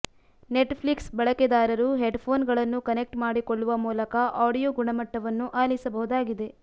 net Flix ಬಳಕೆದಾರರು headphone ಗಳನ್ನು connect ಮಾಡಿಕೊಳ್ಳುವ ಮೂಲಕ ಆಡಿಯೋ ಗುಣಮಟ್ಟವನ್ನು ಅಲಿಸಬಹುದಾಗಿದೆ